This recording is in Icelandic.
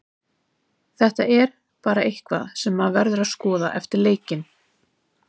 Þetta er bara eitthvað sem maður verður að skoða eftir leikinn.